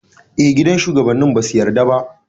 Gidan shugabanni basu yarda ba.